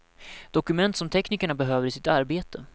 Dokument som teknikerna behöver i sitt arbete.